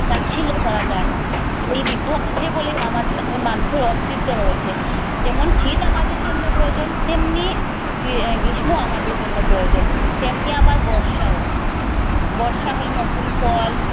তাচ্ছিল্য করা যায় না। এই ঋতু আছে বলেই আমাদের মানুষের অস্তিত্ব রয়েছে। যেমন শীত আমাদের জন্যে প্রয়োজন তেমনি গ্রীষ্মও আমাদের জন্যে প্রয়োজন তেমনি আবার বর্ষাও। বর্ষা হলে নতুন ফল